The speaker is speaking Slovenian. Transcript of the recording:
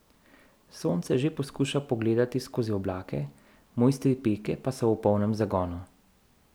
Sonce že poskuša pogledati skozi oblake, mojstri peke pa so v polnem zagonu.